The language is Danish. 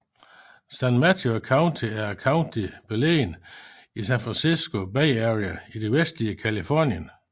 San Mateo County er et county beliggende i San Francisco Bay Area i det vestlige Californien